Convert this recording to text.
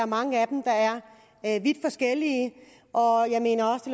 mange af dem der er vidt forskellige jeg mener det